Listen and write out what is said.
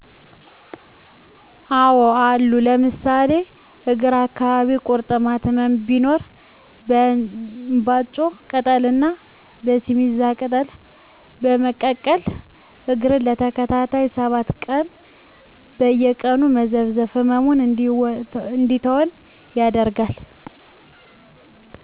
አዎ አሉ ለምሳሌ እግር አካባቢ ቂርጥማት ህመም ሲኖር የእንባጮ ቅጠል ና የሲሚዛ ቅጠል በመቀቀል እግርን ለተከታታይ 7 ቀናት በየቀኑ መዘፍዘፍ ህመሙ እንዲተወን ያደርጋል።